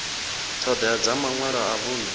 ṱhoḓea dza maṅwalo a vhuṅe